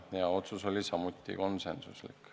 Seegi otsus oli konsensuslik.